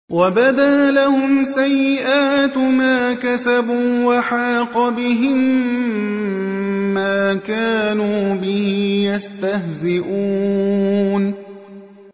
وَبَدَا لَهُمْ سَيِّئَاتُ مَا كَسَبُوا وَحَاقَ بِهِم مَّا كَانُوا بِهِ يَسْتَهْزِئُونَ